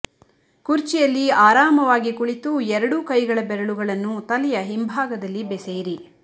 ಕುರ್ಚಿಯಲ್ಲಿ ಆರಾಮವಾಗಿ ಕುಳಿತು ಎರಡೂ ಕೈಗಳ ಬೆರಳುಗಳನ್ನು ತಲೆಯ ಹಿಂಭಾಗದಲ್ಲಿ ಬೆಸೆಯಿರಿ